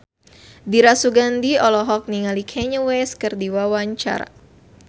Dira Sugandi olohok ningali Kanye West keur diwawancara